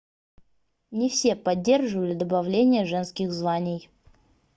не все поддерживали добавление женских званий